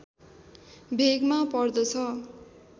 भेगमा पर्दछ